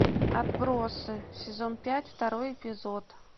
отбросы сезон пять второй эпизод